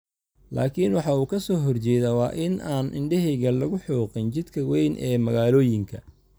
laakiin waxa uu ka soo horjeedaa waa in aan 'indhahayaga lagu xoqin, jidka weyn ee magaalooyinka'.